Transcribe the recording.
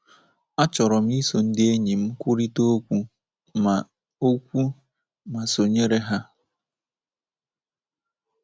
Achọrọ m iso ndị enyi m kwurịta okwu ma okwu ma sonyere ha. ”